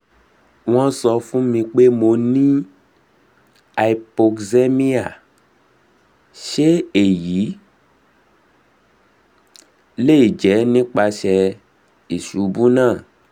won n sọ fun mi pe mo ni hypoxemia se eyi le je nipasẹ isubu naa